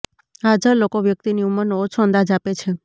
હાજર લોકો વ્યક્તિની ઉંમરનો ઓછો અંદાજ આપે છે